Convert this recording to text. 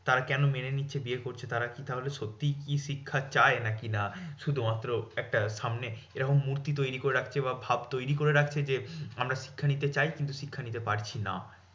তারা কেন মেনে নিচ্ছে? বিয়ে করছে, তারা কি তাহলে সত্যি কি শিক্ষা চায়? নাকি না শুধুমাত্র একটা সামনে এরকম মূর্তি তৈরী করে রাখছে বা ভাব তৈরী করে রাখছে যে, আমরা শিক্ষা নিতে চাইছি কিন্তু শিক্ষা নিতে পারছি না।